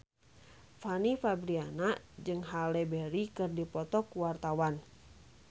Fanny Fabriana jeung Halle Berry keur dipoto ku wartawan